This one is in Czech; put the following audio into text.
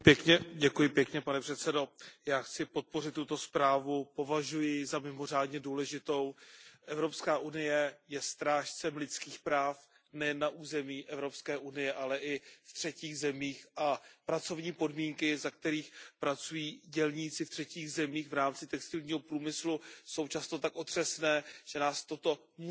Pane předsedající, já chci podpořit tuto zprávu, považuji ji za mimořádně důležitou. Evropská unie je strážcem lidských práv, nejen na území Evropské unie, ale i v třetích zemích, a pracovní podmínky, za kterých pracují dělníci v třetích zemích v rámci textilního průmyslu, jsou často tak otřesné, že nás to musí zajímat.